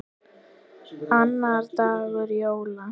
Annar dagur jóla.